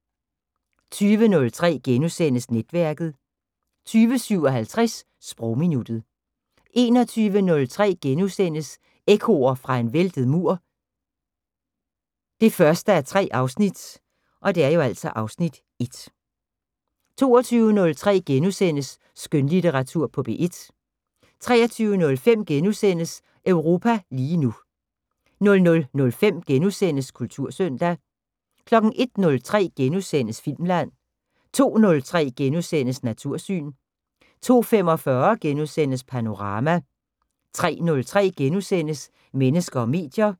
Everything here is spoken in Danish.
20:03: Netværket * 20:57: Sprogminuttet 21:03: Ekkoer fra en væltet mur 1:3 (Afs. 1)* 22:03: Skønlitteratur på P1 * 23:05: Europa lige nu * 00:05: Kultursøndag * 01:03: Filmland * 02:03: Natursyn * 02:45: Panorama * 03:03: Mennesker og medier *